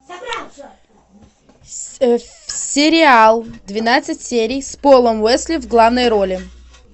сериал двенадцать серий с полом уэсли в главной роли